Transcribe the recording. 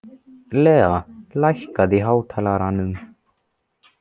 Lea, lækkaðu í hátalaranum.